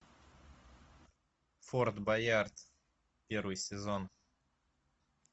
форт боярд первый сезон